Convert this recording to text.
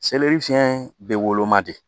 fiyɛn bɛ woloma de